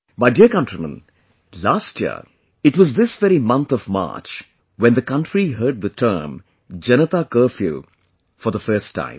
My dear countrymen, last year it was this very month of March when the country heard the term 'Janata Curfew'for the first time